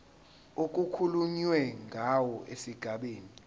okukhulunywe ngawo esigabeni